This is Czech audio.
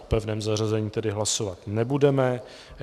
O pevném zařazení tedy hlasovat nebudeme.